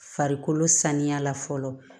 Farikolo saniya la fɔlɔ